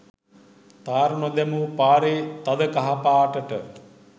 තාර නොදැමු පාරේ තද කහ පාටට